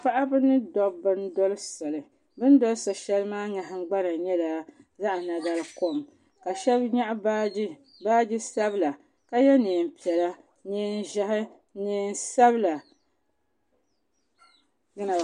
Paɣaba mini dabba n doli soli bɛ ni doli so'sheli maa Kama nyɛla zaɣa nagarikom ka Sheba nyaɣi baagi baagi sabla ka ye niɛn piɛla niɛn ʒehi niɛn sabla.